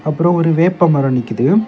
அப்புறம் ஒரு வேப்ப மரம் நிக்குது.